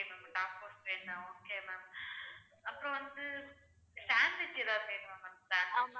okay ma'am அப்புறம் வந்து sandwich ஏதாவது வேணுமா ma'am